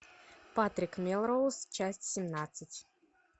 патрик мелроуз часть семнадцать